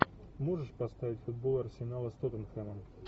можешь поставить футбол арсенала с тоттенхэмом